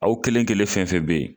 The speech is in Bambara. Aw kelen kelen fɛn fɛn bɛ yen